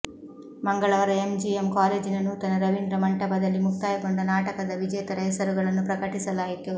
ಮಂಗಳವಾರ ಎಂಜಿಎಂ ಕಾಲೇಜಿನ ನೂತನ ರವೀಂದ್ರ ಮಂಟಪದಲ್ಲಿ ಮುಕ್ತಾಯಗೊಂಡ ನಾಟಕದ ವಿಜೇತರ ಹೆಸರುಗಳನ್ನು ಪ್ರಕಟಿಸಲಾಯಿತು